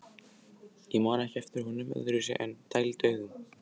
Ég man ekki eftir honum öðruvísi en dælduðum.